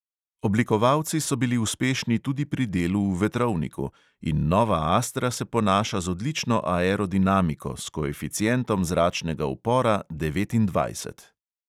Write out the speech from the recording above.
Oblikovalci so bili uspešni tudi pri delu v vetrovniku in nova astra se ponaša še z odlično aerodinamiko, s koeficientom zračnega upora devetindvajset.